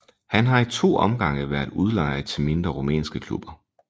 Han har i to omgange været udlejet til mindre rumænske klubber